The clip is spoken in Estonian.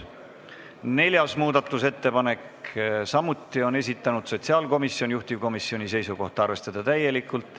Neljanda muudatusettepaneku on samuti esitanud sotsiaalkomisjon, juhtivkomisjoni seisukoht on arvestada seda täielikult.